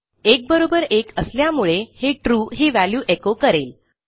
1 बरोबर 1 असल्यामुळे हे ट्रू ही व्हॅल्यू एचो करेल